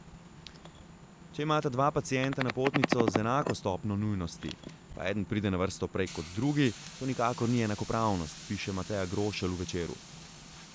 Če imata dva pacienta napotnico z enako stopnjo nujnosti, pa eden pride na vrsto prej kot drugi, to nikakor ni enakopravnost, piše Mateja Grošelj v Večeru.